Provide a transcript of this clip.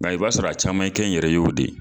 Nga i b'a sɔrɔ a caman ye kɛn yɛrɛ yew de ye